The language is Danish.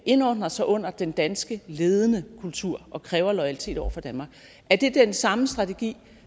indordner sig under den danske ledende kultur og kræve loyalitet over for danmark er det den samme strategi